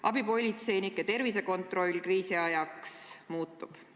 Abipolitseinike tervisekontroll kriisiajal muutub.